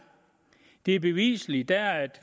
det er bevisligt der er